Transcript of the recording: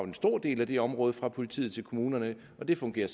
en stor del af det område fra politiet til kommunerne og det fungerer